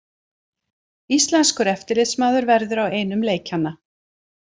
Íslenskur eftirlitsmaður verður á einum leikjanna